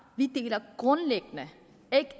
vi deler grundlæggende